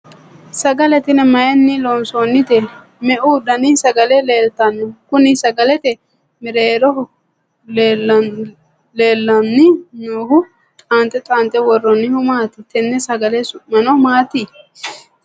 sagale tini mayiinni loonsoonnite? meu dani sagale leeltanno? kuni sagalete mereero leellanni noohu xaanxe xaanxe worroonnihu maati? tenne sagale su'mino maati?